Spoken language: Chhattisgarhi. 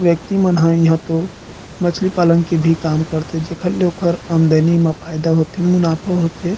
व्यक्ति मन ह इहा तो मछली पालन के भी काम करते जेखर ले ओखर आमदनी म फायदा होथे मुनाफा होथे।